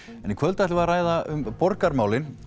en í kvöld ætlum við að ræða um borgarmálin